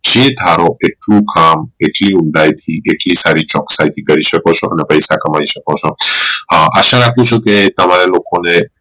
છે ધારો કે કયું કામ કેટલી ઊંડાઈ થી કેટલી સારી રીતે ચોકસાઈ થી કરી શકો છો કેટલા પૈસા કમાઈ શકો છો આશા રાખું છું કે તમારે લોકો ને